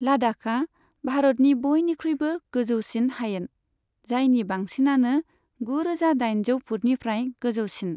लाद्दाखआ भारतनि बयनिख्रुइबो गोजौसिन हायेन, जायनि बांसिनानो गुरोजा दाइनजौ फुटनिफ्राय गोजौसिन।